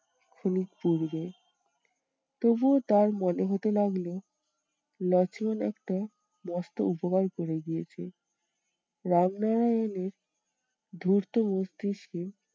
খানিক পূর্বে। তবুও তার মনে হতে লাগলো লক্ষ্মণ একটা মস্ত উপকার করে দিয়েছে। রামনারায়ণের ধূর্ত মস্তিষ্কে